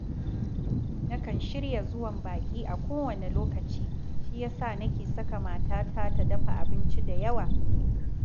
Nakan shirya zuwan baƙi a kowane lokaci, shi ya sa nake saka matata ta dafa abinci da yawa